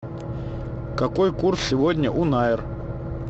какой курс сегодня у найр